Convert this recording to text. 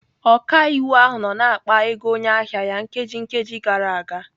Ọkaiwu ahụ nọ na-akpa ego onye ahịa ya nkeji nkeji gara aga.